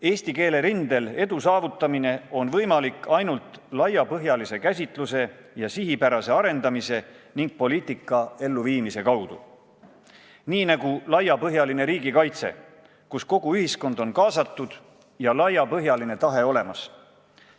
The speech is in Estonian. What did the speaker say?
Eesti keele rindel on võimalik edu saavutada ainult laiapõhjalise käsitluse, sihipärase arendamise ning poliitika elluviimise kaudu, nii nagu laiapõhjalise riigikaitse puhul, mille korral kogu ühiskond on kaasatud ja laiapõhjaline tahe olemas.